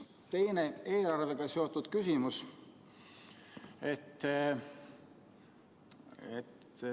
Teine eelarvega seotud küsimus.